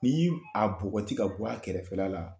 Ni a bɔgɔti ka bɔ, a kɛrɛfɛ la